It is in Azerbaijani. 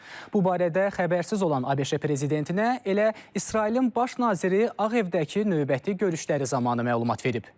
Bu barədə xəbərsiz olan ABŞ prezidentinə elə İsrailin baş naziri Ağ evdəki növbəti görüşləri zamanı məlumat verib.